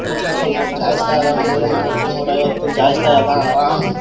ಇದು hairstyles ಬೇಕಾದ್ರೂನು ಕೂಡ ನಾವು ಮಾಡಿಸ್ಕೋಬಹುದು.